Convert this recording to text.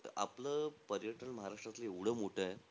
आपलं पर्यटन, महाराष्ट्रातलं एव्हडं मोठंय.